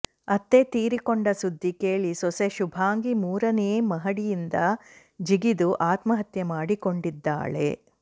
ಅತ್ತೆ ತೀರಿಕೊಂಡ ಸುದ್ದಿ ಕೇಳಿ ಸೊಸೆ ಶುಭಾಂಗಿ ಮೂರನೇ ಮಹಡಿಯಿಂದ ಜಿಗಿದು ಆತ್ಮಹತ್ಯೆ ಮಾಡಿಕೊಂಡಿದ್ದಾಳೆ